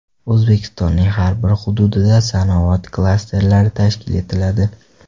O‘zbekistonning har bir hududida sanoat klasterlari tashkil etiladi.